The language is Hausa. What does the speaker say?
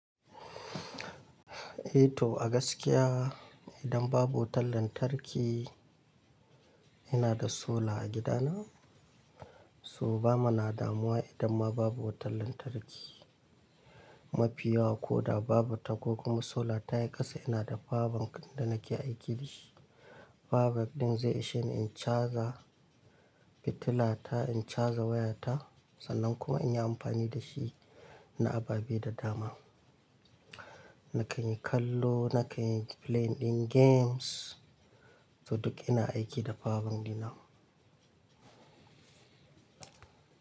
Eh to a gaskiya idan babu wutar lantarki ina da solar a gida na. So ba muna damuwa idan ma babu wutar lantarki, mafiya ko da babu ta ko kuma solar ta yi kasa. Ina da power bank, da nake aiki da shi. Power bank ɗin zai ishe ni in charger fitila ta, in charger waya ta sannan kuma in yi amfani da shi, na ababe da dama. Na kan yi kallo, na kan yi playing ɗin games. To duk ina aiki da power bank ɗina.